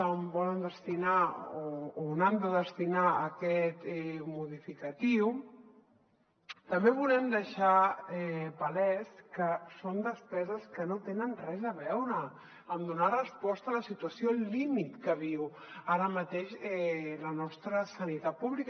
on volen destinar o on han de destinar aquest modificatiu també volem deixar palès que són despeses que no tenen res a veure amb donar resposta a la situació límit que viu ara mateix la nostra sanitat pública